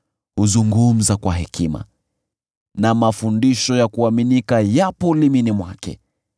Huzungumza kwa hekima na mafundisho ya kuaminika yapo ulimini mwake.